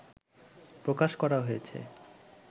প্রকাশ করা হয়েছে